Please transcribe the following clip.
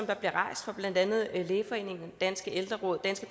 der bliver rejst fra blandt andet lægeforeningen danske ældreråd danske